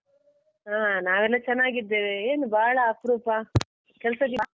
ಹಾ ನಾವೆಲ್ಲ ಚೆನ್ನಾಗಿದ್ದೇವೆ ಏನು ಬಾಳ ಅಪ್ರೂಪ ಕೆಲಸ .